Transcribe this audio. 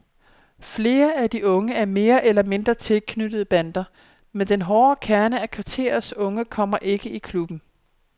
Flere af de unge er mere eller mindre tilknyttet bander, men den hårde kerne af kvarterets unge kommer ikke i klubben.